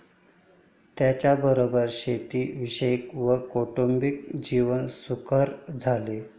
त्यांच्याबरोबर शेती विषयक व कौटुंबिक जीवन सुकर झाले